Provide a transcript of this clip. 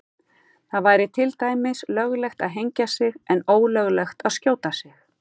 Það væri til dæmis löglegt að hengja sig en ólöglegt að skjóta sig.